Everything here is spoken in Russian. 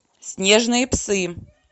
снежные псы